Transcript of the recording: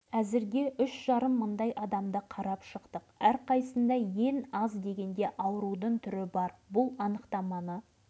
өкінішке орай біз терең зерттеу жүргізе алмаймыз оған сай құралымыз да жоқ ал полигонның адамдарға әсерін